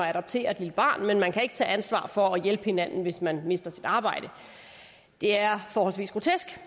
adoptere et lille barn kan man kan ikke tage ansvar for at hjælpe hinanden hvis man mister sit arbejde det er forholdsvis grotesk